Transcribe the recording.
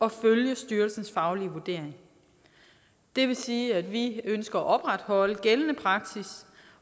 at følge styrelsens faglige vurdering det vil sige at vi ønsker at opretholde gældende praksis